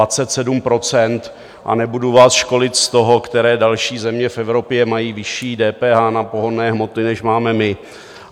A nebudu vás školit z toho, které další země v Evropě mají vyšší DPH na pohonné hmoty, než máme my.